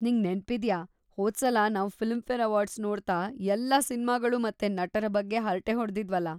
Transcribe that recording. ನಿಂಗ್ ನೆನ್ಪಿದ್ಯಾ ಹೋದ್ಸಲ ನಾವ್‌ ಫಿಲ್ಮ್‌ಫೇರ್‌ ಅವಾರ್ಡ್ಸ್‌ ನೋಡ್ತಾ ಎಲ್ಲ ಸಿನ್ಮಾಗಳು ಮತ್ತೆ ನಟರ ಬಗ್ಗೆ ಹರ್ಟೆ ಹೊಡ್ದಿದ್ವಲ?